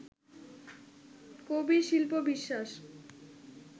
কবির শিল্প-বিশ্বাস